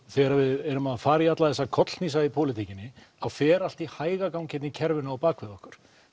þegar við erum að fara í alla þessa kollhnísa í pólitíkinni þá fer allt í hægagang hér í kerfinu á bakvið okkur